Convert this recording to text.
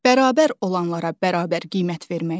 Bərabər olanlara bərabər qiymət verməkdir.